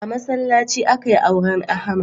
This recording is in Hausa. A masallaci akai auren Ahmad.